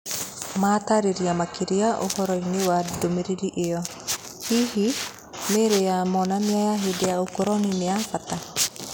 Matarĩria makĩria ũhoroi-nĩ wa ndũmĩrĩri ĩo, hihi mĩĩrĩ ya monanio ya hĩndĩ ya ũkoroni nĩyabata?